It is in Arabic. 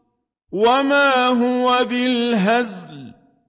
وَمَا هُوَ بِالْهَزْلِ